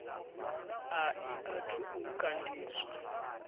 a i athu u kandiswa